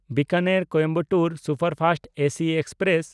ᱵᱤᱠᱟᱱᱮᱨ–ᱠᱚᱭᱮᱢᱵᱟᱴᱩᱨ superfast AC express